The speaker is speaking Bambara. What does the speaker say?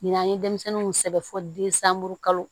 Ni n'an ye denmisɛnninw sɛbɛn fɔ densanburu kalo